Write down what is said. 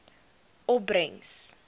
opbrengs